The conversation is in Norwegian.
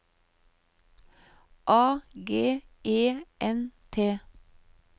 A G E N T